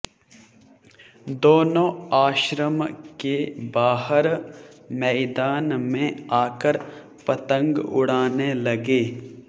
दोनों आश्रम के बाहर मैदान में आकर पतंग उड़ाने लगे